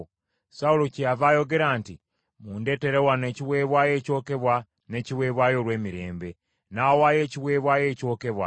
Sawulo kyeyava ayogera nti, “Mundeetere wano ekiweebwayo ekyokebwa n’ekiweebwayo olw’emirembe.” N’awaayo ekiweebwayo ekyokebwa.